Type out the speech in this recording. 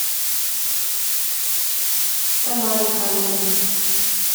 тамаре ханиной